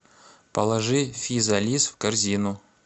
положи физалис в корзину